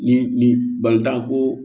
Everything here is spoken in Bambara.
Ni ni bantan ko